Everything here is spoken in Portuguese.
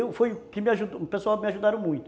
E foi o que me ajudou, o pessoal me ajudaram muito.